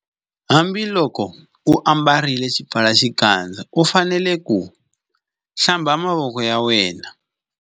Hambiloko u ambarile xipfalaxikandza u fanele ku Hlamba mavoko ya.